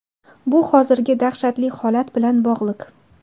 Bu hozirgi dahshatli holat bilan bog‘liq.